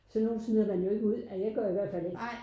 Sådan nogen smider man jo ikke ud jeg gør i hvert fald ikke